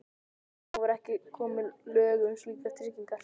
Þá voru ekki komin lög um slíkar tryggingar.